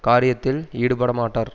காரியத்தில் ஈடுபடமாட்டார்